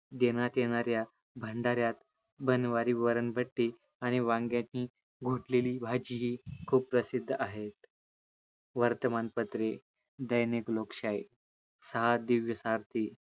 देन्यात येणाऱ्या भंडाऱ्यात बनवारी वरण भट्टी आणि वांग्याची घोटलेले भाजी ही खूप प्रसिध्द आहे वर्तमान पत्रे दैनिक लोकशाही सहादिव्य सारथी